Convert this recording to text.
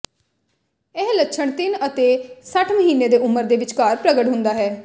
ਇਹ ਲੱਛਣ ਤਿੰਨ ਅਤੇ ਸੱਠ ਮਹੀਨੇ ਦੀ ਉਮਰ ਦੇ ਵਿਚਕਾਰ ਪ੍ਰਗਟ ਹੁੰਦਾ ਹੈ